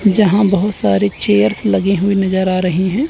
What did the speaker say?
जहां बहुत सारे चेयर्स लगे हुएं नजर आ रहें हैं।